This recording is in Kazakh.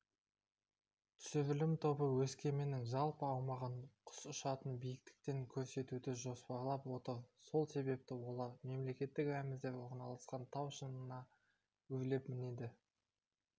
түсірілім тобы өскеменнің жалпы аумағын құс ұшатын биіктіктен көрсетуді жоспарлап отыр сол себепті олар мемлекеттік рәміздер орналасқан тау шыңына өрлеп мінеді